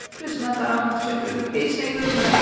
Gözümə qaranlıq çökür, heç nə görmürəm.